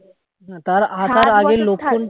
তার আসার আগে লক্ষণ